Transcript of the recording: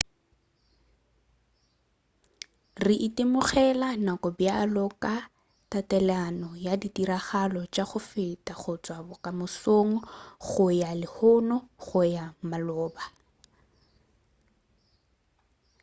re itemogela nako bjalo ka tatelano ya ditiragalo tša go feta go tšwa bokamosong go ya go lehono go ya go maloba